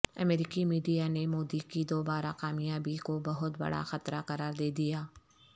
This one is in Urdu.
امریکیمیڈیا نے مودی کی دوبارہ کامیابی کو بہت بڑا خطرہ قرار دے دیا